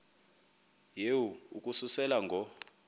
yehu ukususela ngo